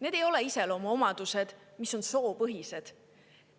Need ei ole iseloomuomadused, mis on soopõhised,